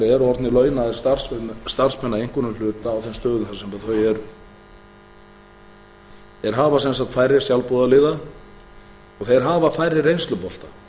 eru orðnir launaðir starfsmenn að einhverjum hluta á þeim stöðum þar sem þau eru þeir hafa sem sagt færri sjálfboðaliða og þeir hafa færri reynslubolta